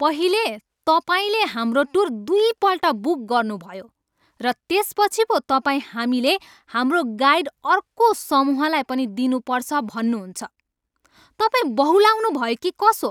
पहिले, तपाईँले हाम्रो टुर दुईपल्ट बुक गर्नुभयो र त्यसपछि पो तपाईँ हामीले हाम्रो गाइड अर्को समूहलाई पनि दिनुपर्छ भन्नुहुन्छ। तपाईँ बहुलाउनुभयो कि कसो?